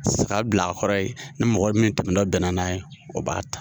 Saga bila a kɔrɔ ye ni mɔgɔ min tɛmɛ tɔ bɛnna n'a ye o b'a ta